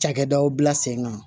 Cakɛdaw bila sen kan